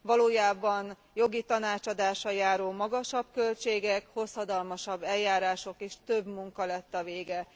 Valójában jogi tanácsadással járó magasabb költségek, hosszadalmasabb eljárások és több munka lett a vége.